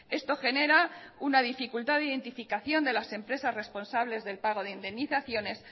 esto genera una dificultad de identificación de las empresas responsables del pago de indemnizaciones